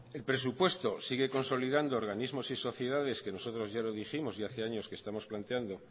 el presupuesto sigue consolidando organismos y sociedades que nosotros ya lo dijimos y hace años que estamos planteando